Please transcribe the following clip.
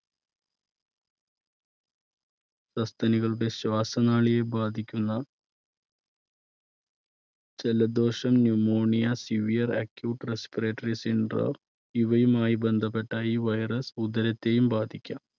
സസ്തനികളുടെ ശ്വാസനാളിയെ ബാധിക്കുന്ന ജലദോഷം, pneumonia, severe acute respiratory syndrome ഇവയുമായി ബന്ധപ്പെട്ട ഈ virus ഉദരത്തെയും ബാധിക്കാം.